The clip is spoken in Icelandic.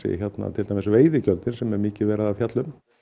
til dæmis veiðigjöldin sem mikið er verið að fjalla um